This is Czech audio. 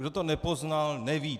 Kdo to nepoznal, neví.